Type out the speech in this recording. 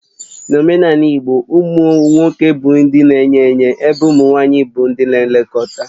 N'omenala igbo, ụmụ nwoke bụ ndị na-enye enye ébé ụmụ nwanyị bụ ndị nlekọta